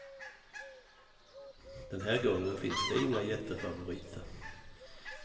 Den här gången finns det inga jättefavoriter.